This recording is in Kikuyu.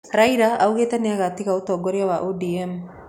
Raila augĩte nĩagatiga ũtongoria wa ODM